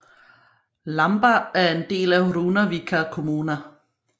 Lamba er en del af Runavíkar kommuna